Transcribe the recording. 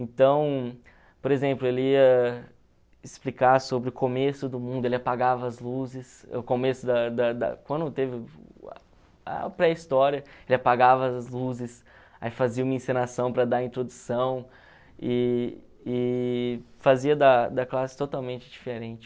Então, por exemplo, ele ia explicar sobre o começo do mundo, ele apagava as luzes, o começo da da da... Quando teve a pré-história, ele apagava as luzes, aí fazia uma encenação para dar introdução e e fazia da da classe totalmente diferente.